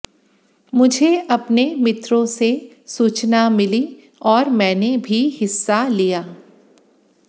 मुझे अपने मित्रों से सूचना मिली और मैंने भी हिस्सा लिया